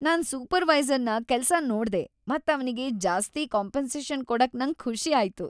ನಾನ್ ಸೂಪರ್ವೈಸರ್‌ನ ಕೆಲ್ಸನ್ ನೋಡ್ದೆ ಮತ್ ಅವ್ನಿಗೆ ಜಾಸ್ತಿ ಕಾಂಪೆನ್ಸೇಷನ್‌ ಕೊಡಕ್ ನಂಗ್ ಖುಷಿ ಆಯ್ತು.